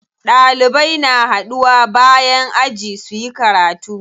Ɗalibai na haɗuwa bayan aji suyi karatu.